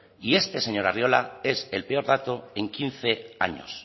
y este señor arriola es el peor dato en quince años